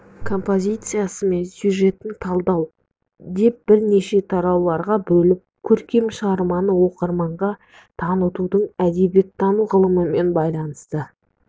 композициясы мен сюжетін талдау деп бірнеше тарауларға бөліп көркем шығарманы оқырманға танытудың әдебиеттану ғылымымен байланысты